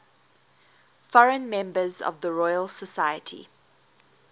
foreign members of the royal society